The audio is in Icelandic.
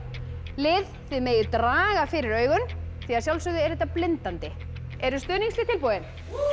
lið þið megið draga fyrir augun því að sjálfsögðu er þetta blindandi eru stuðningslið tilbúin